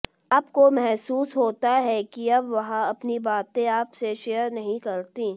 आपको महसूस होता है कि अब वह अपनी बातें आपसे शेयर नहीं करती